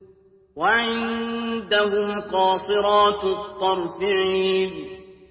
وَعِندَهُمْ قَاصِرَاتُ الطَّرْفِ عِينٌ